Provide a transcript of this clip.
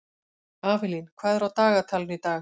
Avelín, hvað er á dagatalinu í dag?